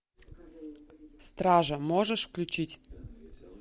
стража можешь включить